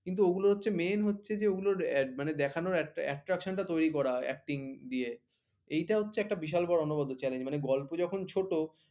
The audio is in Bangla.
কিন্তু ওগুলো হচ্ছে মেইন হচ্ছে যে ওগুলোর দেখানোর একটা attraction টা তৈরি করা হয় acting দিয়ে। এইটা হচ্ছে একটা বিশাল বড় অনবদ্য চ্যালেঞ্জ মানে গল্প যখন ছোট